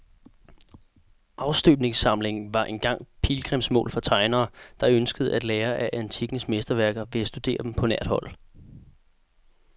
Afstøbningssamlingen var engang pilgrimsmål for tegnere, der ønskede at lære af antikkens mesterværker ved at studere dem på nært hold.